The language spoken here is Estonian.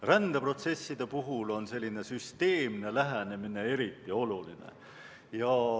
Rändeprotsesside puhul on süsteemne lähenemine eriti oluline.